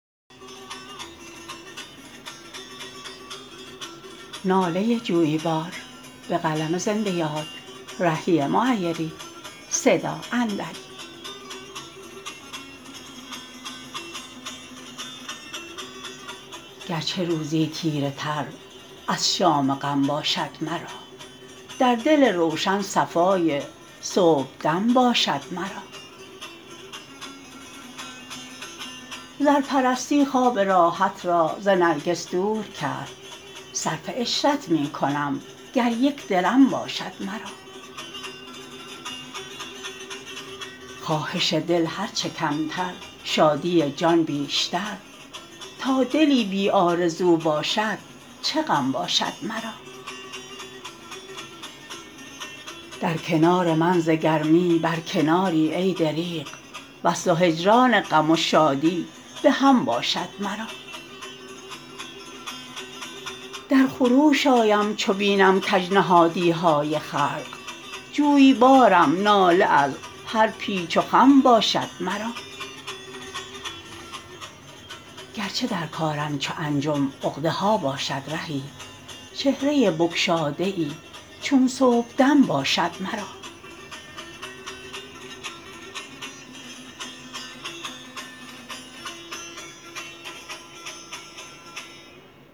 گرچه روزی تیره تر از شام غم باشد مرا در دل روشن صفای صبحدم باشد مرا زرپرستی خواب راحت را ز نرگس دور کرد صرف عشرت می کنم گر یک درم باشد مرا خواهش دل هرچه کمتر شادی جان بیشتر تا دلی بی آرزو باشد چه غم باشد مرا در کنار من ز گرمی بر کناری ای دریغ وصل و هجران غم و شادی به هم باشد مرا در خروش آیم چو بینم کج نهادی های خلق جویبارم ناله از هر پیچ و خم باشد مرا گرچه در کارم چو انجم عقده ها باشد رهی چهره بگشاده ای چون صبحدم باشد مرا